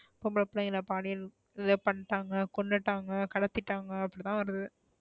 பொம்பள பிள்ளைங்கள பாலியல் rape பண்ணிட்டாங்க கொன்னுட்டாங்க கடத்திட்டாங்க அப்டி தான் வருது.